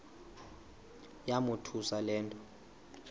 yamothusa le nto